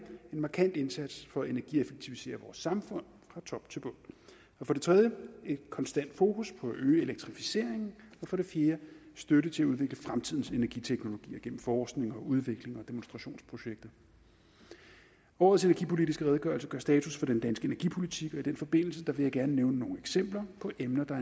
markant indsats for at energieffektivisere vores samfund fra top til bund for det tredje et konstant fokus på at øge elektrificeringen og for det fjerde støtte til at udvikle fremtidens energiteknologier gennem forskning udvikling og demonstrationsprojekter årets energipolitiske redegørelse gør status for den danske energipolitik og i den forbindelse vil jeg gerne nævne nogle eksempler på emner der